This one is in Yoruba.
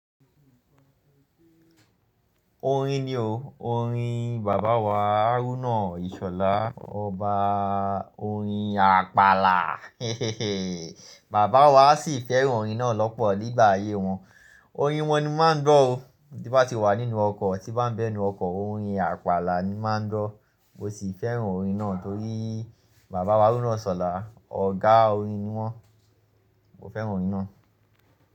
Orin ni o, orin bàbá wa Aruna Ìṣọ̀lá, ọba orin Àpàlà. Bàbá wa sì fẹ́ràn orin náà lọ́pọ̀ nígbà ayé wọn. Orin wọn ni mo máa ń gbọ́ o, tí bá ti wà nínú ọkọ̀, tí bá ń bẹ nínú ọkọ̀, orin Àpàlà ni wọ́n máa ń gbọ́. Mo sì fẹ́ràn orin náà torí bàbá wa Arugbá Ìṣọ̀lá, ọ̀gá orin ni wọ́n. Mo fẹ́ràn orin náà.